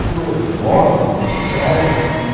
Por osmose você traz aquilo